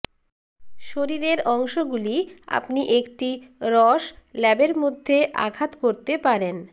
শরীরের অংশগুলি আপনি একটি রস ল্যাবের মধ্যে আঘাত করতে পারেন